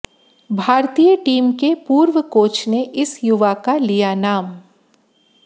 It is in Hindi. भारतीय टीम के पूर्व कोच ने इस युवा का लिया नाम